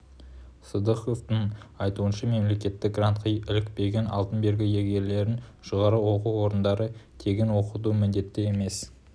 сыдықовтың айтуынша мемлекетттік грантқа ілікпеген алтын белгі иегерлерін жоғары оқу орындары тегін оқытуға міндетті емес